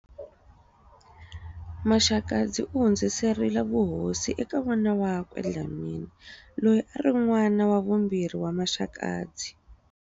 Maxakadzi u hundziserile vuhosi eka n'wana wakwe Dlhamani, loyi a ri n'wana wa vumbirhi wa Maxakadzi.